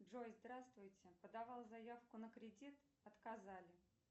джой здравствуйте подавала заявку на кредит отказали